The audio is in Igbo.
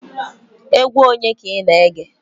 Egwu onye ka ina ege?